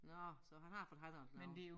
Nåh så han har fået handlet noget